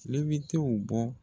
Tilebi tew bɔ